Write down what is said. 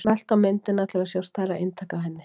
smelltu á myndina til að sjá stærra eintak af henni